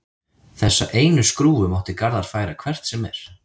Þessa einu skrúfu mátti Garðar færa hvert sem er.